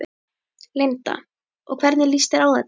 Linda: Og hvernig lýst þér á þetta?